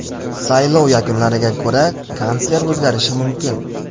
Saylov yakunlariga ko‘ra, kansler o‘zgarishi mumkin.